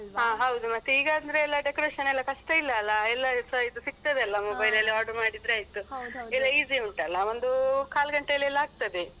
ಅಹ್ ಹೌದು ಮತ್ತೆ ಈಗ ಅಂದ್ರೆ decoration ಎಲ್ಲ ಕಷ್ಟ ಇಲ್ಲ ಅಲ ಎಲ್ಲಸ ಇದು ಸಿಗ್ತದೆ ಅಲ್ಲ ಎಲ್ಲ ಮೊಬೈಲ್ ಅಲ್ಲಿ ಆಡ್ರ್ ಮಾಡಿದ್ರಾಯ್ತು ಈಗೆಲ್ಲ easy ಉಂಟಲ್ಲ ಒಂದು ಕಾಲ್ ಗಂಟೆಯಲ್ಲೆಲ್ಲ ಆಗ್ತದೆ.